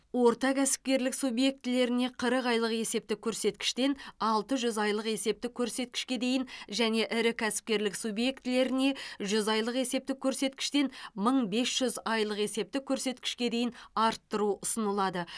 орта кәсіпкерлік субъектілеріне қырық айлық есептік көрсеткіштен алты жүз айлық есептік көрсеткішке дейін және ірі кәсіпкерлік субъектілеріне жүз айлық есептік көрсеткіштен мың бес жүз айлық есептік көрсеткішке дейін арттыру ұсынылады